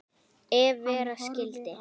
Ef vera skyldi.